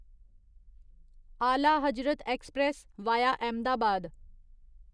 आला Hazrat express via Ahmedabad